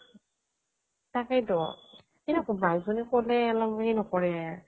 তাকেই টো কিনো ক'বা আৰু অলপ সেই নকৰে